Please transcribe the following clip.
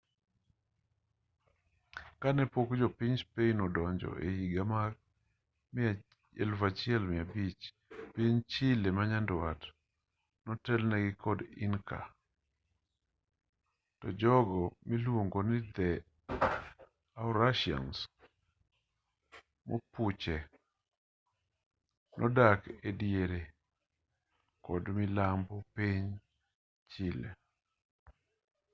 kanepok jo piny spain odonjo ehiga mag 1500 piny chile manyandwat notelnegi kod inca to jogo miluongo ni araucanians mapuche nodak ediere kod milambo mar piny chile